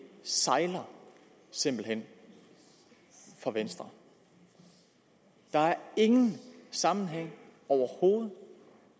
sejler simpelt hen for venstre der er ingen sammenhæng overhovedet